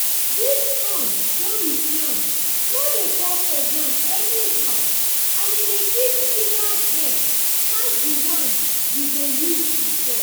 this corn wey we plant no dey fall for ground anyhow and e dey give bigger head pass the one we dey use before.